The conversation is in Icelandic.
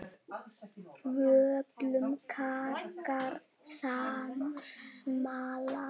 Völum krakkar smala.